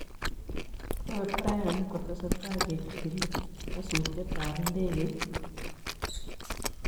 Kobe Bryant:Ketesetai kejigilii nyasutietab ndekeit